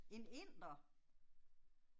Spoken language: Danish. En inder?